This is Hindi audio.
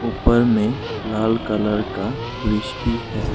ऊपर में लाल कलर का ब्रिज भी है।